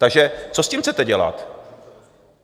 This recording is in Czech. Takže co s tím chcete dělat?